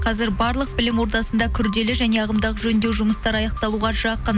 қазір барлық білім ордасында күрделі және ағымдағы жөндеу жұмыстары аяқталуға жақын